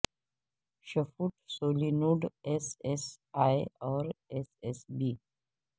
shift solenoid S S A اور S S be